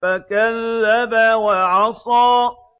فَكَذَّبَ وَعَصَىٰ